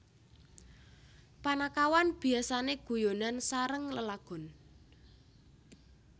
Panakawan biasane guyonan sareng lelagon